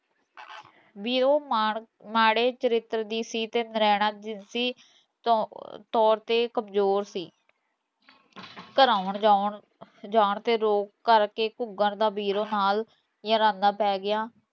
ਬੀਰੋਂ ਮਾ ਮਾੜੇ ਚਰਿੱਤਰ ਦੀ ਸੀ ਤੇ ਨਰੈਣਾ ਜੀਸੀ ਤੋਰ ਤੇ ਕਮਜ਼ੋਰ ਸੀ ਘਰ ਆਉਣ ਜਾਉਣ ਜਾਣ ਤੇ ਰੋਕ ਕਰਕੇ ਘੁਗਰ ਦਾ ਵੀਰੋ ਨਾਲ, ਯਰਾਨਾ ਪੈ ਗਿਆ